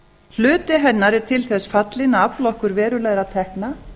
hluti hennar er til þess fallinn að afla okkur verulegra tekna